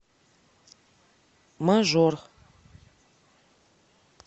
мажор